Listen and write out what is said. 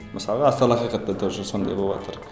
мысалы астарлы ақиқатта тоже сондай боватыр